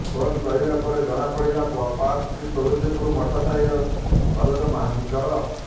phone କରିବା ପରେ ଜଣାପଡ଼ିଥିଲା ପର୍ସଟି ତୁଳସୀପୁର ମଠ ସାହିର ସରୋଜ ମହାନ୍ତିଙ୍କର